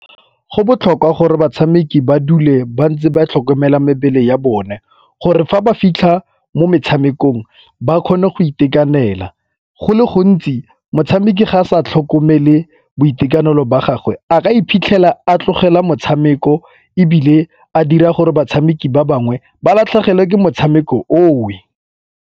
Go botlhokwa gore batshameki ba dule ba ntse ba tlhokomele mebele ya bone gore fa ba fitlha mo metshamekong ba kgone go itekanela. Go le gontsi tshameka ga a sa tlhokomele boitekanelo ba gagwe a ka iphitlhela a tlogela motshameko ebile a dira gore batshameki ba bangwe ba latlhegelwe ke motshameko oo.